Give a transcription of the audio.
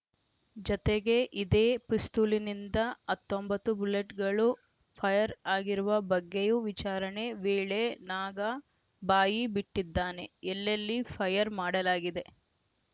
ಜತೆಗೆ ಇದೇ ಪಿಸ್ತೂಲಿನಿಂದ ಹತ್ತೊಂಬತ್ತು ಬುಲೆಟ್‌ಗಳು ಫೈರ್‌ ಆಗಿರುವ ಬಗ್ಗೆಯೂ ವಿಚಾರಣೆ ವೇಳೆ ನಾಗ ಬಾಯಿ ಬಿಟ್ಟಿದ್ದಾನೆ ಎಲ್ಲೆಲ್ಲಿ ಫೈರ್‌ ಮಾಡಲಾಗಿದೆ